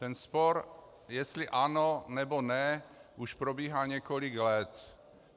Ten spor, jestli ano, nebo ne, už probíhá několik let.